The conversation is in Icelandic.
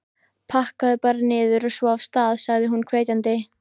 Pakkaðu bara niður, og svo af stað! sagði hún hvetjandi.